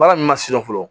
Baara in ma surun fɔlɔ